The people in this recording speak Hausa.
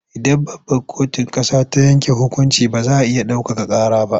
Idan babbar kotun ƙasa ta yanke hukunci ba za a iya ɗaukaka ƙara ba.